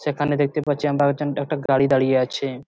সেখানে দেখতে পাচ্ছি আমরা একজন একটা গাড়ি দাঁড়িয়ে আছে ।